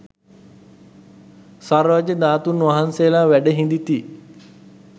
සර්වඥ ධාතූන් වහන්සේලා වැඩ හිඳිති